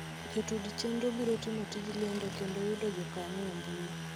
Jotud chenro biro timo tij lendo kendo yudo jokanyo e mbui